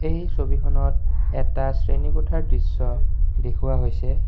এই ছবিখনত এটা শ্ৰেণীকোঠাৰ দৃশ্য দেখুওৱা হৈছে।